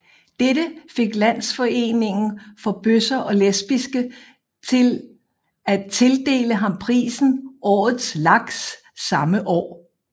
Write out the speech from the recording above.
Dette fik Landsforeningen for Bøsser og Lesbiske til at tildele ham prisen Årets Laks samme år